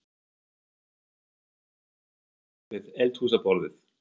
Sígur niður á koll við eldhúsborðið.